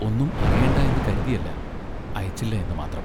ഒന്നും അറിയേണ്ട എന്നു കരുതിയല്ല, അയച്ചില്ല എന്നു മാത്രം.